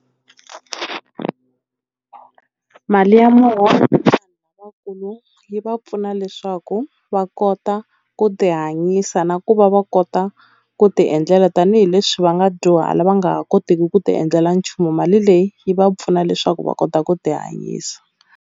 Mali ya muholo yi va pfuna leswaku va kota ku ti hanyisa na ku va va kota ku ti endlela tanihileswi va nga dyuhala va nga ha koteki ku ti endlela nchumu mali leyi yi va pfuna leswaku va kota ku ti hanyisa.